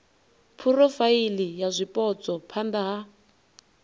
phurofaili ya zwipotso phana ha